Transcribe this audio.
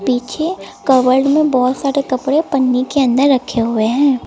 पीछे कबर्ड में बहुत सारे कपड़े पन्नी के अन्दर रखे हुए हैं।